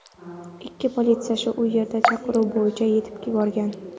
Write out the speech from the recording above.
Ikki politsiyachi u yerga chaqiruv bo‘yicha yetib borgan.